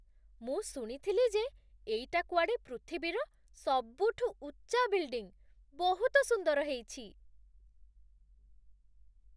ମୁଁ ଶୁଣିଥିଲି ଯେ ଏଇଟା କୁଆଡ଼େ ପୃଥିବୀର ସବୁଠୁ ଉଚ୍ଚା ବିଲ୍ଡିଂ । ବହୁତ ସୁନ୍ଦର ହେଇଛି!